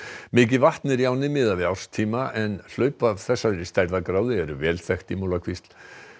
mikið vatn er í ánni miðað við árstíma en hlaup af þessari stærðargráðu eru vel þekkt í Múlakvísl